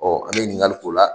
an bɛ ɲininkali k'o la.